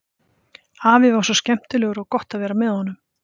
Afi var svo skemmtilegur og gott að vera með honum.